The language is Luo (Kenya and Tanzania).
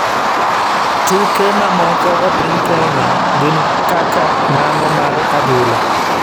Tuke mamoko e piny Kenya gin kaka mano mar adhula.